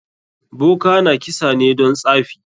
Boka na kisa ne don tsafi?